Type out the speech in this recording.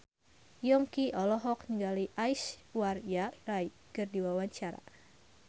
Yongki olohok ningali Aishwarya Rai keur diwawancara